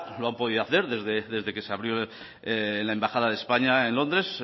lo han podido hacer desde que se abrió la embajada de españa en londres